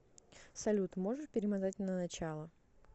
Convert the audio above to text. салют можешь перемотать на начало